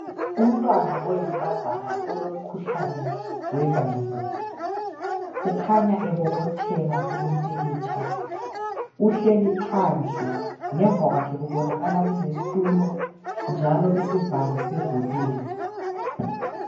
Umntwana oyinkazana olomkhuhlane wengqondo. Ukhanya ebobotheka kulomphikhitsha. Uhleli phandle, ngemva kwake kubonakala kule sthulo, njalo isivalo sivuliwe.